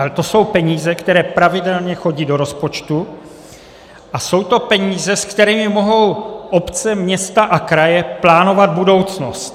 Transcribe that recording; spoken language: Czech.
Ale to jsou peníze, které pravidelně chodí do rozpočtu, a jsou to peníze, se kterými mohou obce, města a kraje plánovat budoucnost.